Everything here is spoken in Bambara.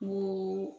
Ni